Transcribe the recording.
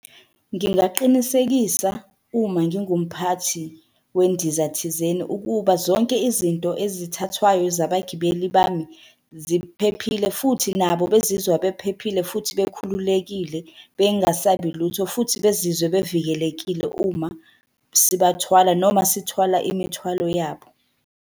Ngingaqinisekisa uma ngingumphathi wendiza thizeni ukuba zonke izinto ezithathwayo zabagibeli bami ziphephile futhi nabo bezizwa bephephile futhi bekhululekile bengasabi lutho, futhi bezizwe bevikelekile uma sibathwala noma sithwala imithwalo yabo.